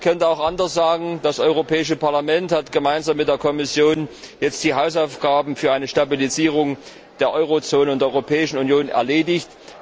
Man könnte auch anders sagen Das Europäische Parlament hat jetzt gemeinsam mit der Kommission die Hausaufgaben für eine Stabilisierung der Eurozone und der Europäischen Union erledigt.